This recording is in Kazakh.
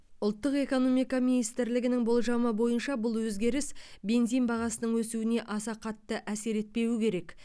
ұлттық экономика министрлігінің болжамы бойынша бұл өзгеріс бензин бағасының өсуіне аса қатты әсер етпеуі керек